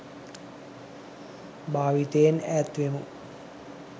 භාවිතයෙන් ඈත් වෙමු.